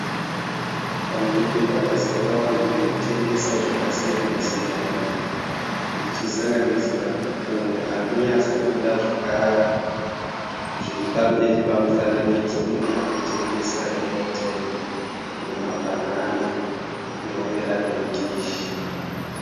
Pamberi pakazara vanhu vanotengesa zvakasiyana siyana kuchisanganisira munhu arikunyatsobuda zviri pamberi pamufananidzo munhu arikutengesa (airtime) nemabhanana anova ari mudhishi.